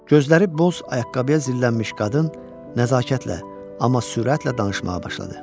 Gözləri boz ayaqqabıya zillənmiş qadın nəzakətlə, amma sürətlə danışmağa başladı.